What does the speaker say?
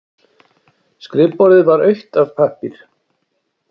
Skrifborðið var autt af pappír.